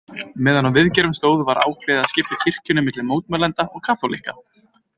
Meðan á viðgerðum stóð var ákveðið að skipta kirkjunni milli mótmælenda og kaþólikka.